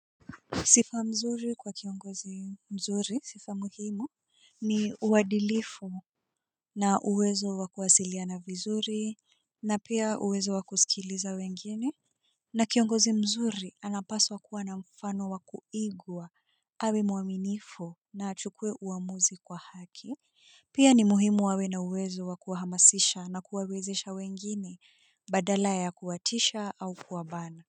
Sifa nzuri kwa kiongozi mzuri, sifa muhimu, ni uadilifu na uwezo wa kuwasilia na vizuri na pia uwezo wa kusikiliza wengine. Na kiongozi mzuri anapaswa kuwa na mfano wa kuigwa, awe muaminifu na achukue uamuzi kwa haki. Pia ni muhimu awe na uwezo wakuhamasisha na kuwawezesha wengine, badala ya kuwatisha au kuwabana.